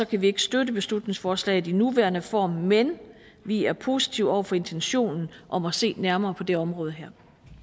kan vi ikke støtte beslutningsforslaget i den nuværende form men vi er positive over for intentionen om at se nærmere på det område her